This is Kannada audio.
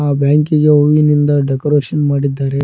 ಆ ಬ್ಯಾಂಕಿ ಗೆ ಹೂವಿನಿಂದ ಡೆಕೋರೇಷನ್ ಮಾಡಿದ್ದಾರೆ.